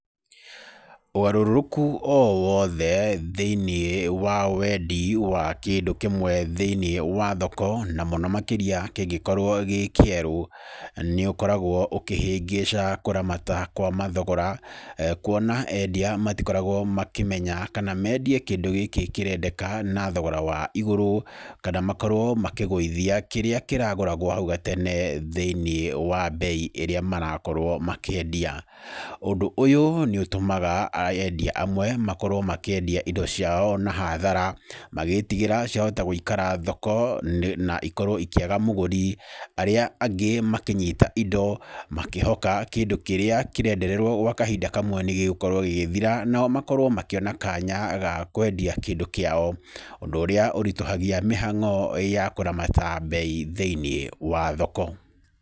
Ũgarũrũku o wothe thĩinĩ wa wendi wa kĩndũ kĩmwe thĩinĩ wa thoko, na mũno makĩria kĩngĩkorwo gĩkĩerũ, nĩũkoragwo ũkĩhĩngĩca kũramata kwa mathogora. Kwona endia matikoragwo makĩmenya kana mendie kĩndũ gĩkĩ kĩrendeka na thogora wa igũrũ, mana makorwo makĩgũithia kĩrĩa kĩragũragwo nahau nĩ gatene thĩinĩ wa mbei ĩrĩa marakorwo makĩendia. Ũndũ ũyũ nĩ ũtũmaga endia amwe, makorwo makĩendia indo ciao na hathara, magĩtigĩra ciahota gũĩkara thoko na ikorwo ikĩaga mũgũri, arĩa angĩ makĩnyita indo, makĩhoka kĩndũ kĩrĩa kĩrendererwo nĩgĩgũkorwo gĩgĩthira, nao makorwo makĩona kanya gakwendia kĩndũ kĩao, ũndũ ũrĩa ũritũhagia mĩhang'o ya kũramata mbei thĩiniĩ wa thoko.